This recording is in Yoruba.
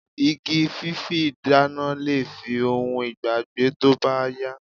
Igi fífi dána lè di ohun ìgbàgbé tó bá yá